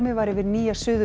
var yfir Nýja Suður